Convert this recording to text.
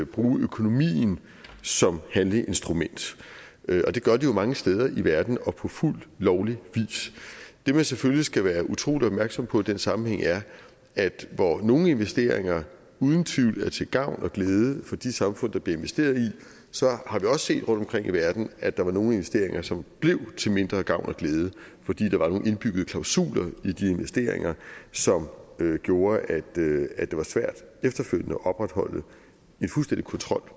bruge økonomien som handleinstrument og det gør de jo mange steder i verden og på fuldt lovlig vis det man selvfølgelig skal være utrolig opmærksom på i den sammenhæng er at hvor nogle investeringer uden tvivl er til gavn og glæde for de samfund der bliver investeret i så har vi også set rundtomkring i verden at der var nogle investeringer som blev til mindre gavn og glæde fordi der var nogle indbyggede klausuler i de investeringer som gjorde at det var svært efterfølgende at opretholde en fuldstændig kontrol